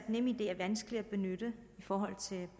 nemid er vanskeligere at benytte